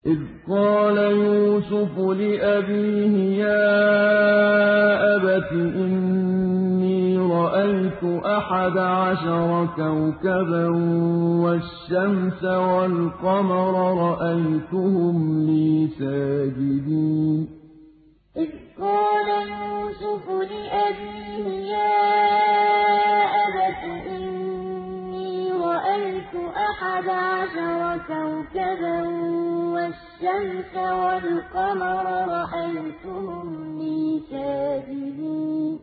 إِذْ قَالَ يُوسُفُ لِأَبِيهِ يَا أَبَتِ إِنِّي رَأَيْتُ أَحَدَ عَشَرَ كَوْكَبًا وَالشَّمْسَ وَالْقَمَرَ رَأَيْتُهُمْ لِي سَاجِدِينَ إِذْ قَالَ يُوسُفُ لِأَبِيهِ يَا أَبَتِ إِنِّي رَأَيْتُ أَحَدَ عَشَرَ كَوْكَبًا وَالشَّمْسَ وَالْقَمَرَ رَأَيْتُهُمْ لِي سَاجِدِينَ